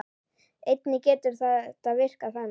Einnig getur þetta virkað þannig